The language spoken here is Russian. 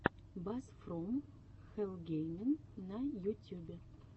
бас фром хэлл геймин на ютюбе